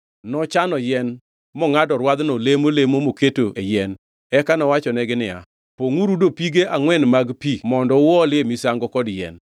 Nochano yien, mongʼado rwadhno e lemo lemo mokete e yien. Eka nowachonegi niya, “Pongʼuru dopige angʼwen mag pi mondo uolie misango kod yien.”